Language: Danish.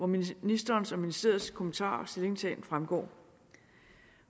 ministerens og ministeriets kommentarer og stillingtagen fremgår